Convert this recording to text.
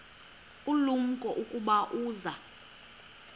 ulumko ukuba uza